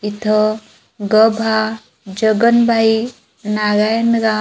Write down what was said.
इथं ग भा जगनभाई नारायणगा--